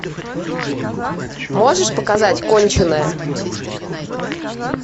можешь показать конченая